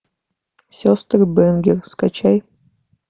сестры бэнгер скачай